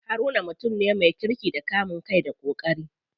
Haruna mutum ne me kirki da kamun kai da ƙoƙari.